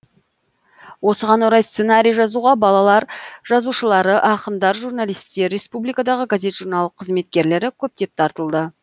осыған орай сценарий жазуға балалар жазушылары ақындар журналистер республикадағы газет журнал кызметкерлері көптеп тартылды